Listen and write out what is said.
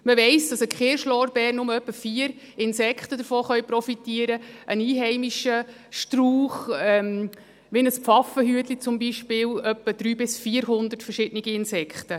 Man weiss, dass vom Kirschlorbeer nur etwa vier Insekten profitieren können, von einem einheimischen Strauch, wie einem Pfaffenhütchen zum Beispiel, etwa 300 bis 400 verschiedene Insekten.